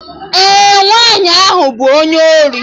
Ee, nwaanyị ahụ bụ onye ori